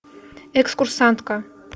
экскурсантка